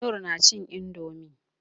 Noor nacin indomie.